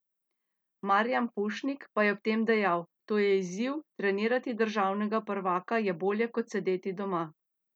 Marijan Pušnik pa je ob tem dejal: "To je izziv, trenirati državnega prvaka je bolje kot sedeti doma.